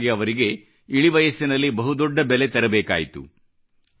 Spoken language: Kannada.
ಇದಕ್ಕಾಗಿ ಅವರಿಗೆ ಇಳಿವಯಸ್ಸಿನಲ್ಲಿ ಬಹುದೊಡ್ಡ ಬೆಲೆ ತೆರಬೇಕಾಯಿತು